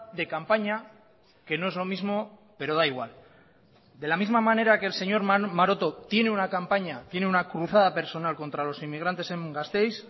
de campaña que no es lo mismo pero da igual de la misma manera que el señor maroto tiene una campaña tiene una cruzada personal contra los inmigrantes en gasteiz